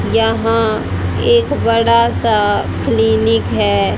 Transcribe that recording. यहां एक बड़ासा क्लिनिक है।